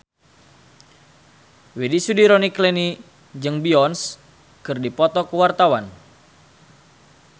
Widy Soediro Nichlany jeung Beyonce keur dipoto ku wartawan